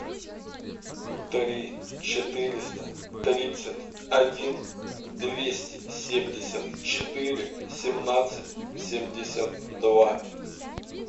три четыреста тридцать один двести семьдесят четыре семнадцать семьдесят два